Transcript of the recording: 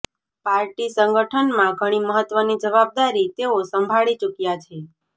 party સંગઠનમાં ઘણી મહત્વની જવાબદારી તેઓ સંભાળી ચૂક્યા છે